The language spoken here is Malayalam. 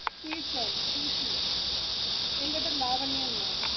തീർച്ചയായിട്ടും എന്റെ പേര് ലാവണ്യ എന്നാ.